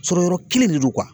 Sɔrɔ yɔrɔ kelen de do